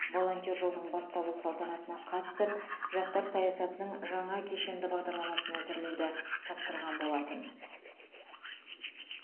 волонтер жылының басталу салтанатына қатысып жастар саясатының жаңа кешенді бағдарламасын әзірлеуді тапсырған болатын